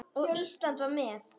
Og Ísland var með.